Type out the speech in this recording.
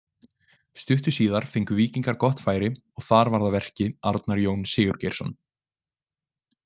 Stuttu síðar fengu Víkingar gott færi og þar var að verki Arnar Jón Sigurgeirsson.